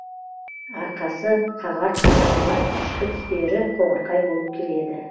арқасы қағар қанатының ішкі түстері қоңырқай болып келеді